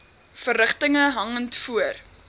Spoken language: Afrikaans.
verrigtinge hangend voor